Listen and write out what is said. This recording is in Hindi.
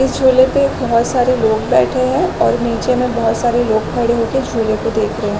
इस झूले पर बहोत सारे लोग बैठे है और नीचे में बहोत सारे लोग खड़े हो के झूले को देख रहे है।